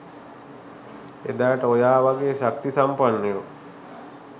එදාට ඔයා වගේ ශක්ති සම්පන්නයෝ